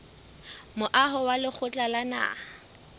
moaho wa lekgotla la naha